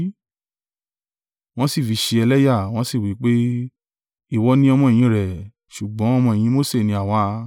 Wọ́n sì fi í ṣe ẹlẹ́yà, wọ́n sì wí pé, “Ìwọ ni ọmọ-ẹ̀yìn rẹ̀, ṣùgbọ́n ọmọ-ẹ̀yìn Mose ni àwa.